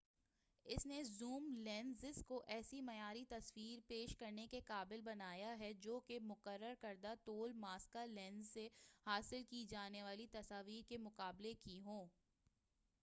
اس نے zoom lenses کو ایسی معیاری تصاویر پیش کرنے کے قابل بنایا ہے جوکہ مقرر کردہ طول ماسکہ لینزز سے حاصل کی جانے والی تصاویر کے مقابلے کی ہوں